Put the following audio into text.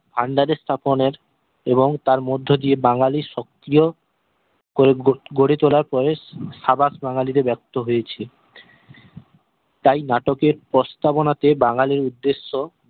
আন্দাজের স্থাপনের এবং তার মধ্যে দিয়ে বাঙ্গালির সক্রিয় করে গড়ে তোলার প্রয়েস সাবাস বাঙ্গালি তে ব্যক্ত হয়েছে তাই নাটকের প্রস্তাবনা তে বাঙ্গালির উদ্দেশ্য